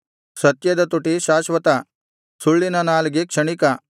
ಸತ್ಯದ ತುಟಿ ಶಾಶ್ವತ ಸುಳ್ಳಿನ ನಾಲಿಗೆ ಕ್ಷಣಿಕ